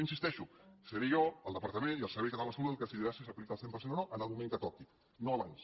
hi insisteixo seré jo el departament i el servei català de la salut els qui decidirem si s’aplica al cent per cent o no en el moment que toqui no abans